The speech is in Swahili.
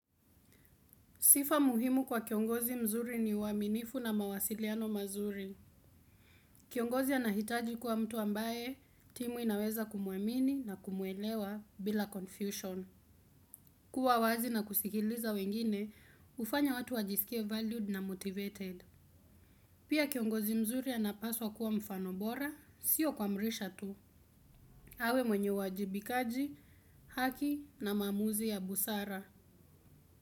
Sifa muhimu kwa kiongozi mzuri ni uaminifu na mawasiliano mazuri. Kiongozi anahitaji kuwa mtu ambaye timu inaweza kumuamini na kumuelewa bila confusion. Kuwa wazi na kusikiliza wengine, hufanya watu wajisikie valued na motivated. Pia kiongozi mzuri anapaswa kuwa mfano bora, sio kuamrisha tu. Awe mwenye uwajibikaji, haki na maamuzi ya busara.